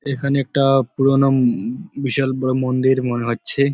এখানে একটা পুরানো উমম বিশাল বড়ো মন্দির মনে হচ্ছে।